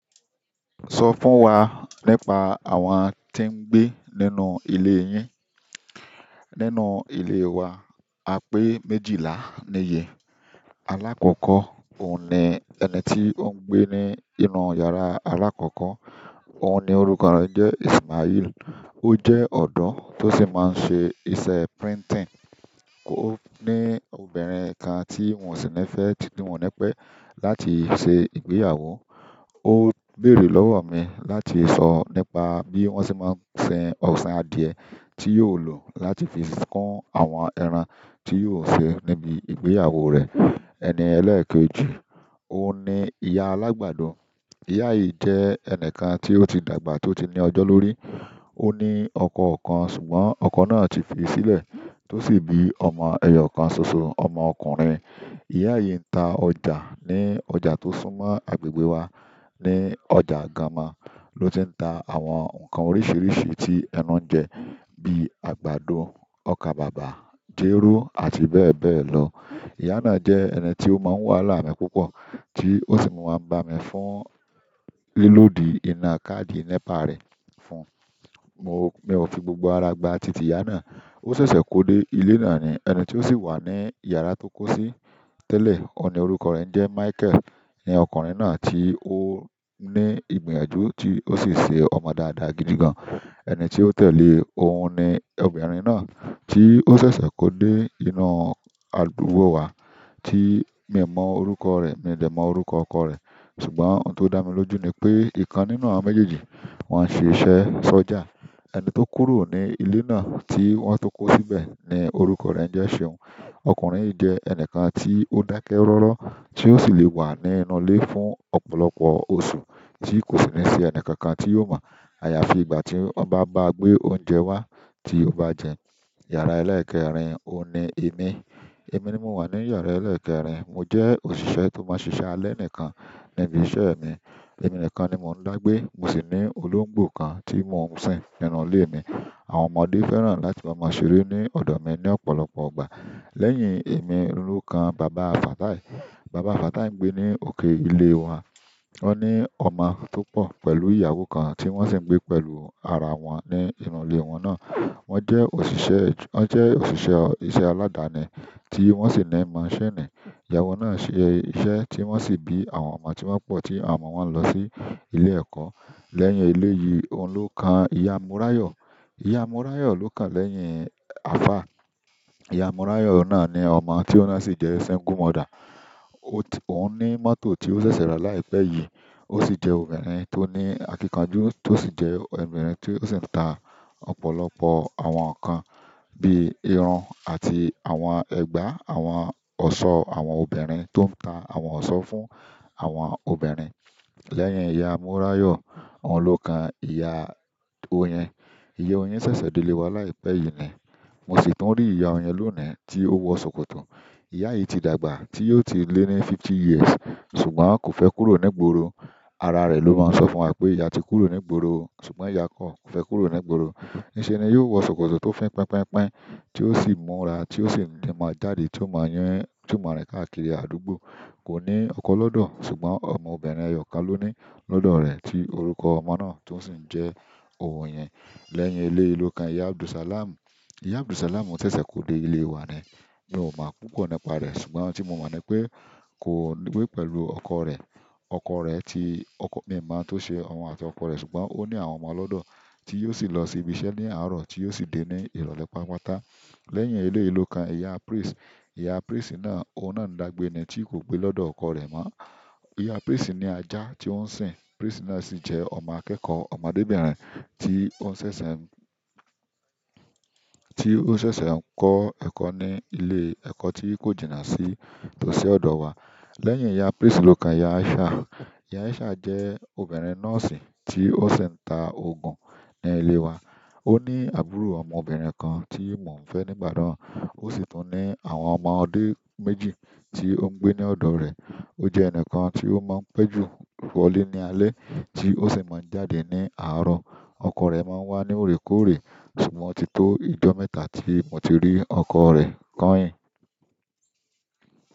Sọ fún wa nípa àwọn tí ń gbé nínú ilé yín. Nínú ilé wa, a pé méjìlá ní yé alákọ̀kọ́, òun ni ẹni tí ó ń gbé ní inú yàrá alákọ̀kọ́. Òún ní orúkọ rẹ ń jẹ ismailu. Ó jẹ́ ọ̀dọ́ tó sì máa ń ṣe iṣẹ́ printing. Ó ní obìnrin kan tí mò sì ní fẹ́, tìtún mo ní pẹ́ láti ṣe ìgbéyàwó. Ó béèrè lọ́wọ́ mi láti sọ nípa bí wón ṣe máa ń ṣe ọ̀sìn adìẹ tí yóò lò láti fi kún àwọn ẹran tí yóò sè níbi ìgbéyàwó rẹ̀. Ẹni ẹlẹ́ẹ̀kejì, òun ni ìyá alágbàdo. Ìyá yìí jẹ́ ẹni kan tí ó ti dàgbà tó ti ní ọjọ́ lórí. Ó ní ọkọ kan ṣùgbọ́n ọkọ náà ti fi sílẹ̀ tó sì bí ọmọ ẹyọ kan ṣoṣo, ọmọ ọkùnrin. Ìyá yìí ń ta ọjà ní ọjà tó súnmọ́ agbègbè wa. Ní ọjà Ganmọ ló ti ń ta àwọn nǹkan oríṣiríṣi tí ẹnu ń jẹ bí àgbàdo, ọkà bàbà, jéró àti bẹ́ẹ̀ bẹ́ẹ̀ lọ. Ìyá náà jẹ́ ẹni tí ó máa ń wáalá mi púpọ̀ tí ó sì máa ń bá mi fún lílódì iná káàdì NEPA rẹ̀ fún. Mo, mi ò fi gbogbo ara gba titi iya náà. Ó ṣẹ̀ṣẹ̀ kó dé ilé náà ni. Ẹni tí ó sì wà ní yàrá tó kó sí tẹ́lẹ̀, òun ni orúkọ rẹ̀ ń jẹ́ Michael. Ọkùnrin náà ti o ní ìgbìyànjú tí o si ṣé ọmọ dáadáa gidi gán. Ẹni tí ó tẹ̀lé e, òun ni obìnrin náà tí ó ṣẹ̀ṣẹ̀ kó dé inú àdúgbò wa tí mi ò mọ orúkọ rẹ̀, mi ò dè mọ orúkọ ọkọ rẹ̀. Ṣùgbọ́n òun to dá mí lójú ní pé ìkan nínú àwọn méjèèjì wọn ṣe iṣẹ́ sọja. Ẹni tó kúrò ni ilé náà tí wọ́n tó kó síbẹ̀ ni orúkọ rẹ̀ ń jẹ́. Seun. Ọkùnrin yìí jẹ́ ẹni kan tí ó dákẹ́ rọ́rọ́ tí ó sì lè wà ní inú ilé fún ọ̀pọ̀lọpọ̀ oṣù tí kò sì ní ṣe ẹnìkankan tí yóò mọ̀. Àyàfi ìgbà tí wọ́n bá gbé oúnjẹ wá tí ó bá jẹun. Yàrá ẹlẹ́ẹ̀kẹrin, òun ni èmi. Èmi ni mo wà ní yàrá ẹlẹ́ẹ̀kẹrin. Mo jẹ́ òṣìṣẹ́ tó máa ń ṣiṣẹ́ alẹ́ nìkan níbi iṣẹ́ mi. Ẹ̀ní nìkan ni mo ń lágbé. Mo sì ní olóńgbò kan tí mò ń sìn nínú ilé mi. Àwọn ọmọdé fẹ́ràn láti lọ máa ṣeré ní ọdọ mí ní ọ̀pọ̀lọpọ̀ ìgbà. Lẹ́yìn èmi, oún lo kan bàbá. Fatai. Bàbá Fatai ń gbé ní òkè ilé wọn. Wọ́n ní ọmọ tó pọ̀ pẹ̀lú ìyàwó kan tí wọ́n sì ń gbé pẹ̀lú ara wọn ní inú ilé wọn náà. Wọ́n jẹ́ òṣìṣẹ́, wọ́n jẹ́ òṣìṣẹ́ iṣẹ́ aládáni tí wọ́n sì ná ì másini. Ìyàwó náà ṣe iṣẹ́ tí wọ́n sì bí àwọn ọmọ tí wọ́n pọ̀ tí àwọn ọmọ wọ́n lọ sí ilé ẹ̀kọ́. Lẹ́yìn ilé yìí, òun ló kan ìyá. Moráyọ̀. Ìyá Morayo lo kàn lẹ́yìn afa, ìyá Morayo náà ni ọmọ ti òun náà si jẹ single mother òún ní mọ́tò tí ṣẹṣẹ rà láìpẹ́ yí. Ó sì jẹ́ obìnrin tó ní àkínkanjú, tó sì jẹ́ obìnrin tí ó sì ń ta ọ̀pọ̀lọpọ̀ àwọn nǹkan bí ìrun àti àwọn ẹgba, àwọn ọ̀ṣọ́ àwọn obìnrin tó ń ta àwọn ọ̀ṣọ́ fún àwọn obìnrin. Lẹ́yìn ìyá Múráyọ̀, òun ló kan ìyá Oyin. Ìyá Oyin ṣẹ̀ṣẹ̀ dé ilé wa láìpẹ́ yìí ni. Mo sì tún rí ìyá Oyin lónìí tí ó wọ ṣòkòtò. Ìyá yìí ti dàgbà tí ó ti lé ní fifty years ṣùgbọ́n kò fẹ́ kúrò ní ìgboro. Ara rẹ̀ ló máa ń sọ fún wa pé ìyá ti kúrò ní gboro ṣùgbọ́n ìyá kò fẹ́ kúrò ní ìgboro. Níṣe ni yóò wọ ṣòkòtò tó fín pínpínpínpín tí ó sì múra tí ó sì ń máa jáde tí ó máa yán, tí ó máa rìn káàkiri àdúgbò. Kò ní ọkọ lọ́dọ̀ ṣùgbọ́n ọmọ obìnrin ẹyọ kan ló ní lọ́dọ̀ rẹ̀ tí orúkọ ọmọ náà tó sì ń jẹ́ Oyin. Lẹ́yìn elé yìí ló kan ìyá Abdulsalam. Ìyá Abdulsalam ò ṣẹ̀ṣẹ̀ kó dé ilé wa ni. Mi ò mọ̀ púpọ̀ nípa rẹ̀ ṣùgbọ́n ohun tí mo mọ̀ ni pé kó gbé pẹ̀lú ọkọ rẹ̀. Ọkọ rẹ̀ tí mi ò mọ̀ bó ṣe ọmọ àti ọkọ rẹ̀ ṣùgbọ́n ó ní àwọn ọmọ lọ́dọ̀ tí yóò sì lọ sí ibi iṣẹ́ ní àárọ̀ tí yóò sì dé ní ìrọ̀lẹ́ pápátá. Lẹ́yìn ilé yìí ló kan ìyá Prince. Ìyá Prince náà, òun náà ń dàgbé ni tí kò pé lọ́dọ̀ ọkọ rẹ̀ mọ́. Ìyá Prince ní ajá tí ó ń sìn. Prince náà sì jẹ́ ọmọ akẹ́kọ̀ọ́, ọmọdébìnrin tí ó ṣẹ̀ṣẹ̀ ń, tí ó ṣẹ̀ṣẹ̀ ń kọ́ ẹ̀kọ́ ní ilé ẹ̀kọ́ tí kò jìnà sí tósi ọ̀dọ̀ wa. Lẹ́yìn ìyá Prince ló kan ìyá Aisha. Ìyá Aisha jẹ́ obìnrin nọ́ọ̀sì tí ó sì ń ta oògùn ní ilé wa. Ó ní àbúrò ọmọbìnrin kan tí mò ń fẹ́ nígbà náà. Ó sì tún ní àwọn ọmọdé méjì tí ó ń gbé ní ọ̀dọ̀ rẹ̀. Ojẹ ẹnikan tito máa pẹ jù wọlé ní alẹ́ ti o sí máa ń jáde ni àárọ̀. Ọkọ rẹ̀ máa ń wá ní òrékòórè ṣùgbọ́n o ti tó ìjọ́ mẹ́ta tí mo ti rí ọkọ rẹ̀ kọ́ yin.